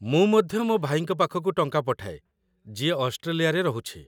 ମୁଁ ମଧ୍ୟ ମୋ ଭାଇଙ୍କ ପାଖକୁ ଟଙ୍କା ପଠାଏ, ଯିଏ ଅଷ୍ଟ୍ରେଲିଆରେ ରହୁଛି।